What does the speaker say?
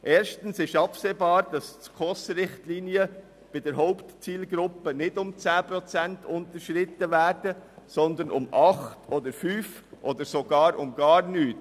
Erstens ist absehbar, dass die Richtlinien der Schweizerischen Konferenz für Sozialhilfe (SKOS) bei der Hauptzielgruppe nicht um 10 Prozent unterschritten werden, sondern um 8 Prozent, 5 Prozent oder sogar um 0 Prozent.